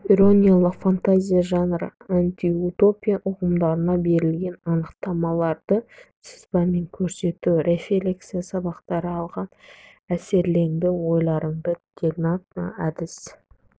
ирониялық фантазия жанры антиутопия ұғымдарына берілген анықтамаларды сызбамен көрсету рефлексия сабақта алған әсерлеріңді ойларыңды диалогтық әдіс